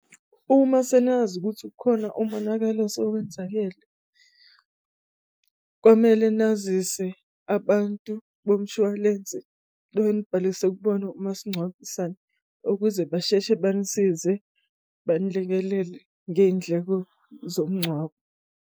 Uma senazi ukuthi kukhona umonakalo osenzakele kumele nazise abantu bomshwalense enibhalise kubona umasingcwabisane ukuze basheshe banisize banilekelele ngey'ndleko zomngcwabo.